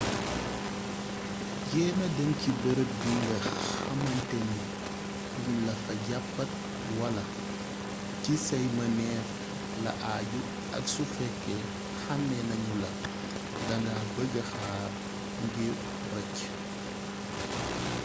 jeema dem ci bërëb bi nga xamanteni duun lafa jaapat wala ci say mëneef la aju ak su fekke xame nañula da nga bëgga xaar ngir rëcc